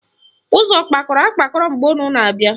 Ụzọ kpakọrọ akpakọ mgbe unu na-abịa?